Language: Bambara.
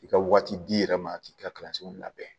I ka waati d'i yɛrɛ ma k'i ka kalanso labɛn